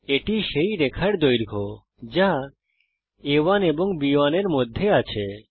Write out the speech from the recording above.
এটি সেই রেখার দৈর্ঘ্য যা আ1 এবং B1 এর মধ্যে আছে